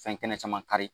Fɛn kɛnɛ caman kari